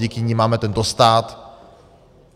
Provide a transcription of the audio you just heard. Díky nim máme tento stát.